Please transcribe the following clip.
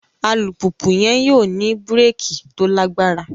Alupupu yẹn yóò ni bíréèkì to lagbara